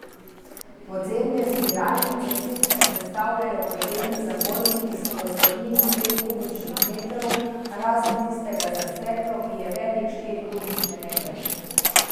Podzemne zbiralnice sicer sestavljajo podzemni zabojniki s prostornino pet kubičnih metrov, razen tistega za steklo, ki je velik štiri kubične metre.